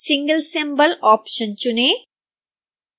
single symbol option चुनें